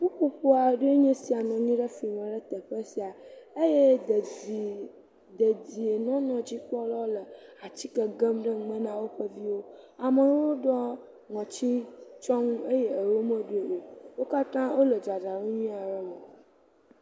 ƒuƒoƒo aɖee nye sia nɔ anyi ɖe flime ɖe teƒe sia eye dedii, dedienɔnɔ nyadzikpɔlawo le atsike gem ɖe nume na woƒe viwo. Amewo ɖɔ ŋɔtsitsyɔnu eye erewo meɖɔeo. Wo katã wole dzadzraɖo nyuie are me.